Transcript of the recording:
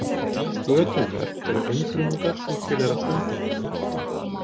Götungar eru einfrumungar sem tilheyra frumdýrum.